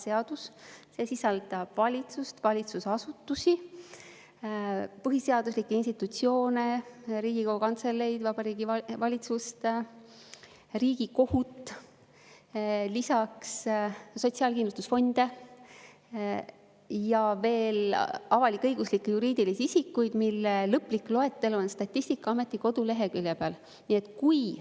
See sisaldab valitsust, valitsusasutusi, põhiseaduslikke institutsioone, Riigikogu Kantseleid, Vabariigi Valitsust, Riigikohut, lisaks sotsiaalkindlustusfonde ja veel avalik-õiguslikke juriidilisi isikuid, mille lõplik loetelu on Statistikaameti koduleheküljel.